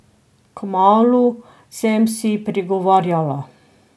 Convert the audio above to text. Kmalu, sem si prigovarjala.